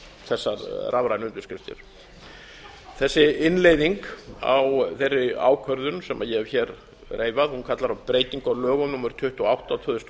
þessar rafrænu undirskriftir þessi innleiðing á þeirri ákvörðun sem ég hef reifað kallar á breytingu á lögum númer tuttugu og átta tvö þúsund og